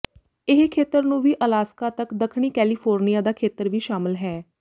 ਇਹ ਖੇਤਰ ਨੂੰ ਵੀ ਅਲਾਸਕਾ ਤੱਕ ਦੱਖਣੀ ਕੈਲੀਫੋਰਨੀਆ ਦਾ ਖੇਤਰ ਵੀ ਸ਼ਾਮਲ ਹੈ